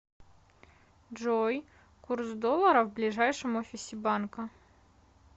джой курс доллара в ближайшем офисе банка